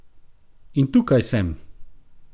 In tukaj sem!